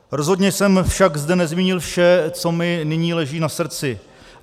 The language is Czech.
Rozhodně jsem zde však nezmínil vše, co mi nyní leží na srdci.